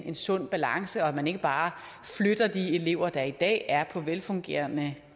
en sund balance og at man ikke bare flytter de elever der i dag er på velfungerende